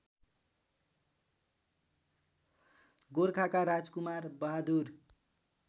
गोर्खाका राजकुमार बहादुर